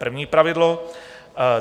První pravidlo.